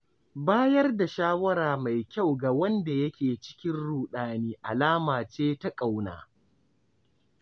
Bayar da shawara mai kyau ga wanda yake cikin ruɗani alama ce ta ƙauna.